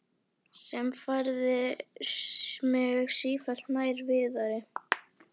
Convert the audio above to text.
Sem færði mig sífellt nær Viðari.